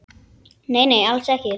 Nei, nei, alls ekki.